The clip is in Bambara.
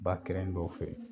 Ba kɛrɛn dɔw fe